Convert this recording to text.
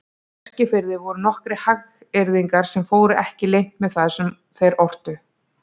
Á Eskifirði voru nokkrir hagyrðingar sem fóru ekki leynt með það sem þeir ortu.